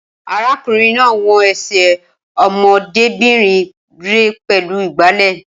Arákùnrin náà won ẹsẹ̀ ọmọdébìnrin rẹ pẹ̀lú ìgbálẹ̀